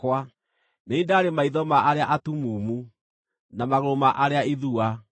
Nĩ niĩ ndaarĩ maitho ma arĩa atumumu, na magũrũ ma arĩa ithua.